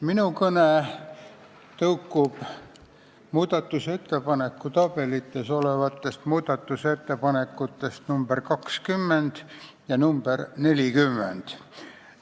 Minu kõne on ajendatud muudatusettepanekute tabelites olevatest ettepanekutest nr 20 ja nr 40.